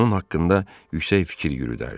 Onun haqqında yüksək fikir yürüdərdi.